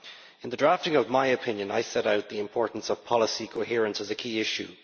In the drafting of my opinion, I set out the importance of policy coherence as a key issue.